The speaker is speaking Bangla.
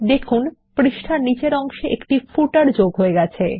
দেখুন একটি পাদলেখ পৃষ্ঠার নীচের অংশে যোগ হয়ে গেছে